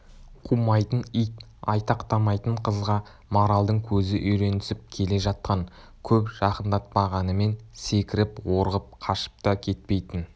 қумайтын ит айтақтамайтын қызға маралдың көзі үйренісіп келе жатқан көп жақындатпағанымен секіріп-орғып қашып та кетпейтін